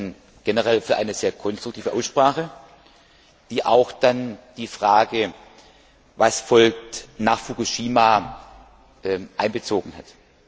Ich danke Ihnen generell für eine sehr konstruktive Aussprache, die auch die Frage, was folgt nach Fukushima, einbezogen hat.